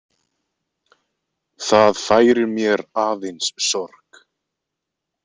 Það færir mér aðeins sorg.